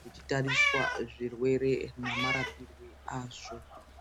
kuchitariswa zvirwere namarapirwe azvo.